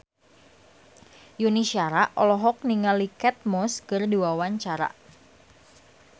Yuni Shara olohok ningali Kate Moss keur diwawancara